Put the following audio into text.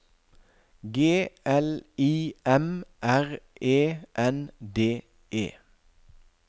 G L I M R E N D E